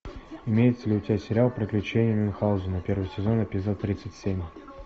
имеется ли у тебя сериал приключения мюнхаузена первый сезон эпизод тридцать семь